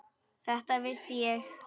Þetta vissi ég.